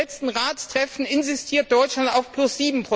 Im letzten Ratstreffen insistierte Deutschland auf plus